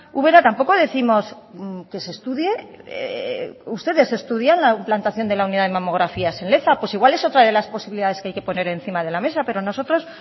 ubera tampoco décimos que se estudie ustedes estudian la implantación de la unidad de mamografías en leza pues igual es otra de las posibilidades que hay que poner encima de la mesa pero nosotros